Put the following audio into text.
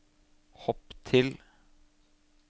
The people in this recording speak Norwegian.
hopp til